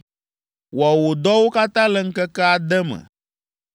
Wɔ wò dɔwo katã le ŋkeke ade me.